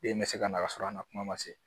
Den bɛ se ka na ka sɔrɔ a ma kuma ma se